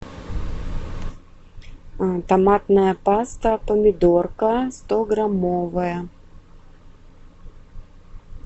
томатная паста помидорка стограммовая